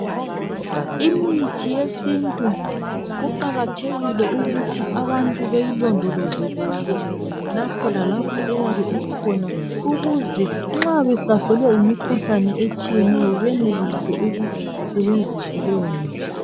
Imithi yesintu kuqakathekile ukuthi abantu beyilondoloze kuhle lapho lalapho eyabe ikhona. Ukuze nxa behlaselwe yimikhuhlane etshiyeneyo benelise ukuyesebenzisa.